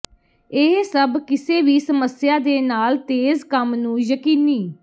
ਇਹ ਸਭ ਕਿਸੇ ਵੀ ਸਮੱਸਿਆ ਦੇ ਨਾਲ ਤੇਜ਼ ਕੰਮ ਨੂੰ ਯਕੀਨੀ